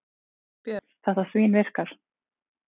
Björn: Þetta svínvirkar?